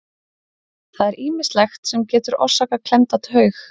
Það er ýmislegt sem getur orsakað klemmda taug.